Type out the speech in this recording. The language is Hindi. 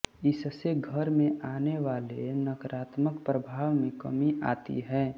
इससे घर में आने वाले नकारात्मक प्रभाव में कमी आती है